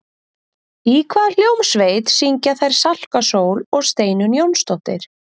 Í hvaða hljómsveit syngja þær Salka Sól og Steinunn Jónsdóttir?